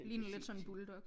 Ligner lidt sådan en bulldog